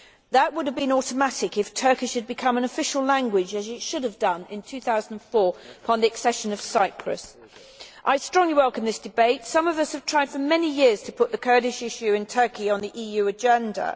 That would have been automatic if Turkish had become an official language, as it should have done in 2004 upon the accession of Cyprus. I strongly welcome this debate. Some of us have tried for many years to put the Kurdish issue in Turkey on the EU agenda.